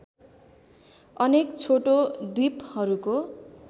अनेक छोटो द्विपहरूको